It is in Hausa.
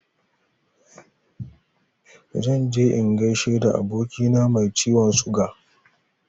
Zan je in gaishe da abokina mai ciwon suga.